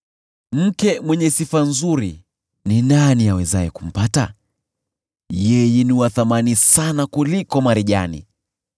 Mke mwenye sifa nzuri, ni nani awezaye kumpata? Yeye ni wa thamani sana kuliko marijani.